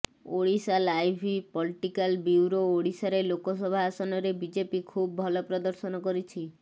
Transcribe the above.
Odisha live political bureau ଓଡ଼ିଶାରେ ଲୋକସଭା ଆସନରେ BJP ଖୁବ୍ ଭଲ ପ୍ରଦର୍ଶନ କରିଛି